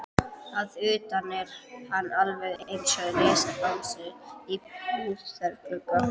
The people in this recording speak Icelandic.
Að utan er hann alveg einsog risabangsi í búðarglugga.